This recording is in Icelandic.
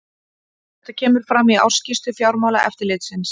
Þetta kemur fram í ársskýrslu Fjármálaeftirlitsins